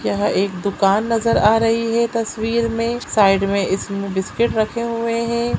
यह एक दुकान नज़र आ रही है तस्वीर मे साइड मे इसमे बिस्किट रखे हुए है।